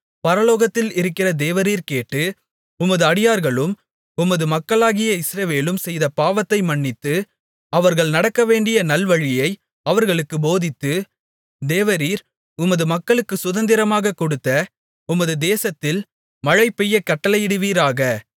பரலோகத்தில் இருக்கிற தேவரீர் கேட்டு உமது அடியார்களும் உமது மக்களாகிய இஸ்ரவேலும் செய்த பாவத்தை மன்னித்து அவர்கள் நடக்கவேண்டிய நல்வழியை அவர்களுக்குப் போதித்து தேவரீர் உமது மக்களுக்குச் சுதந்திரமாகக் கொடுத்த உமது தேசத்தில் மழை பெய்யக் கட்டளையிடுவீராக